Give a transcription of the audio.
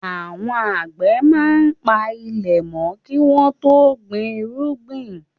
Àwọn àgbẹ̀ máa ń pa ilẹ̀ mọ́ kí wọ́n tó gbin irúgbìn.